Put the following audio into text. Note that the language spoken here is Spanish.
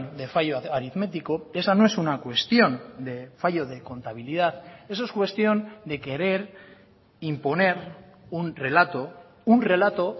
de fallo aritmético esa no es una cuestión de fallo de contabilidad eso es cuestión de querer imponer un relato un relato